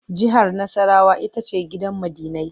Jihar Nassarawa ita ce gidan ma'dinai.